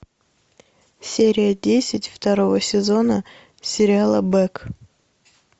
серия десять второго сезона сериала бэк